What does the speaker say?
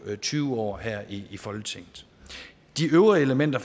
tyve år her i i folketinget de øvrige elementer